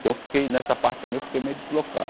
Então eu fiquei, nessa parte também eu fiquei meio deslocado.